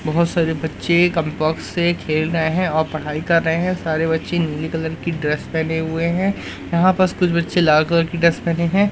बहोत सारे बच्चे कप बॉक्स से खेल रहे हैं और पढ़ाई कर रहे हैं सारे बच्चे नीले कलर की ड्रेस पहने हुए हैं यहां बस कुछ बच्चे लाल रंग की ड्रेस पहने हैं।